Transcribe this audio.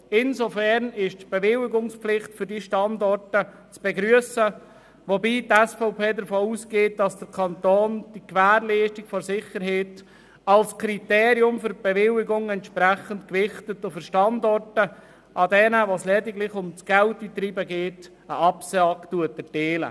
Insofern ist die Bewilligungspflicht für diese Standorte zu begrüssen, wobei die SVP davon ausgeht, dass der Kanton die Gewährleistung der Sicherheit als Kriterium für die Bewilligung entsprechend gewichtet und für Standorte, an welchen es lediglich ums Geldeintreiben geht, eine Absage erteilt.